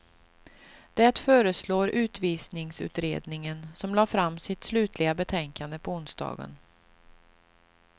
Det föreslår utvisningsutredningen, som lade fram sitt slutliga betänkande på onsdagen.